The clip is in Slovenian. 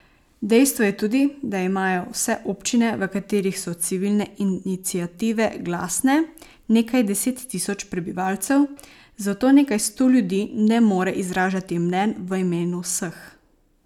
Dejstvo je tudi, da imajo vse občine, v katerih so civilne iniciative glasne, nekaj deset tisoč prebivalcev, zato nekaj sto ljudi ne more izražati mnenj v imenu vseh.